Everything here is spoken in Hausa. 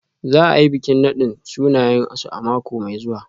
Za a yi bikin nadin sunayensu a mako mai zuwa.